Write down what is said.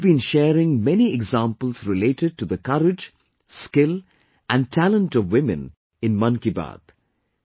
We have been sharing many examples related to the courage, skill, and talent of women in 'Mann Ki Baat'